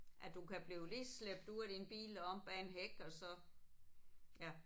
At du kan blive lige slæbt ud af din bil og om bag en hæk og så ja